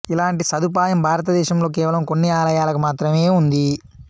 ఇలాంటి సదుపాయం భారతదేశంలో కేవలం కొన్ని ఆలయాలకు మాత్రమే ఉంది